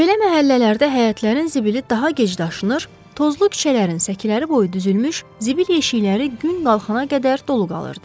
Belə məhəllələrdə həyətlərin zibili daha gec daşınır, tozlu küçələrin səkiləri boyu düzülmüş zibil yeşikləri gün qalxana qədər dolu qalırdı.